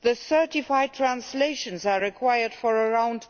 Certified translations are required for around